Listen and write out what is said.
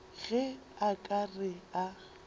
ge a ka re a